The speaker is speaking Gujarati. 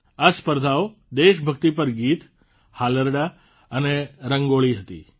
આ સ્પર્ધાઓ દેશભક્તિ પર ગીત હાલરડાં અને રંગોળી હતી